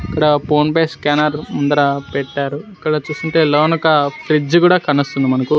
ఇక్కడ PhonePe scanner ముందర పెట్టారు ఇక్కడ చూస్తుంటే లోనొక ఫ్రిజ్ కూడా కానొస్తుంది మనకు.